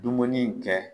Dumuni in kɛ